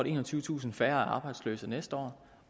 enogtyvetusind færre arbejdsløse næste år